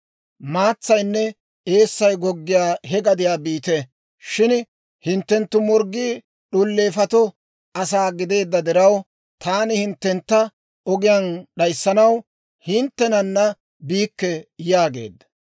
Maatsaynne eessay goggiyaa he gadiyaa biite. Shin hinttenttu morggii d'uleefatoo asaa gideedda diraw, taani hinttentta ogiyaan d'ayssanaw, hinttenana biikke» yaageedda.